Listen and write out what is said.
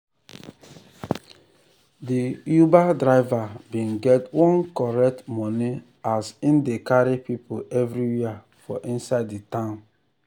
de uber driver bin get one correct money as hin dey carry people everywhere for inside de town.